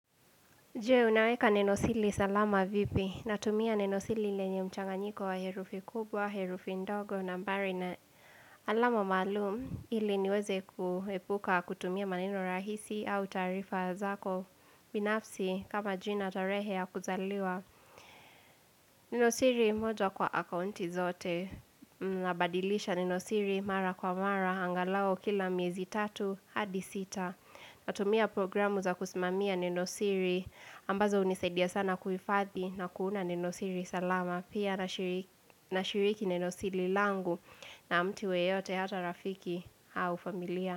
Je, unaweka nenosili salama vipi. Natumia nenosili lenye mchanganyiko wa herufi kubwa, herufi ndogo nambari na alama maalum. Hili niweze kuhepuka kutumia maneno rahisi au taarifa zako. Binafsi kama jina tarehe ya kuzaliwa. Nenosili moja kwa akaunti zote. Nabadilisha nenosili mara kwa mara angalau kila miezi tatu hadi sita. Natumia programu za kusimamia nenosiri ambazo unisaidia sana kuhifadhi na kuunda nenosiri salama pia nashiriki nenosiri langu na mti yeyote hata rafiki au familia.